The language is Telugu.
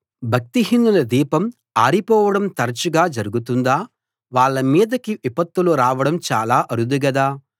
భక్తిహీనుల దీపం ఆరిపోవడం తరచుగా జరుగుతుందా వాళ్ళ మీదికి విపత్తులు రావడం చాలా అరుదు గదా